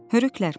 Hörüklər.